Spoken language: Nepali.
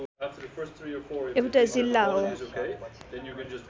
एउटा जिल्ला हो